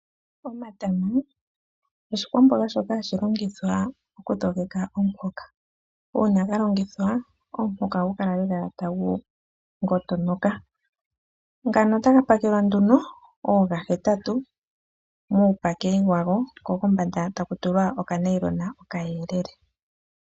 Omatama, oshikwamboga shoka hashi longithwa okudhogeka omuhoka. Uuna ga longithwa , omuhoka ohagu kala lela wa dhogoka. Gamwe ohaga pakelwa nduno oogahetatu, muupaki wawo, ko kombanda taku tulwa okanailona okayelele.